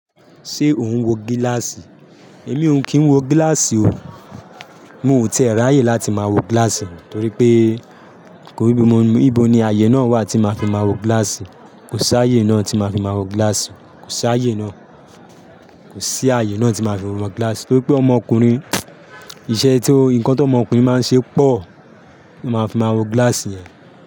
Ṣé o ń wo gíláàsì? Èmi ò kín wo gíláàsì o. N ò tẹ̀ ráyè láti máa wogíláàsì, torí pé nibo ni ààyè náà wà tí máa fi máa wo gíláàsì. Kò sí ààyè náà tí máa fi máa wọ gíláàsì. Kò sí ààyè náà. Kò sí ààyè náà tí máa fi máa wo gíláàsì, torí pé ọmọkùnrin, iṣẹ́ tí ọmọkùnrin máa ń ṣe pọ̀ ti máa fi máa wo gíláàsì yẹn.